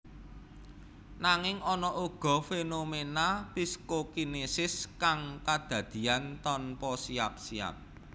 Nanging ana uga fenomena psikokinesis kang kadadian tanpa siap siap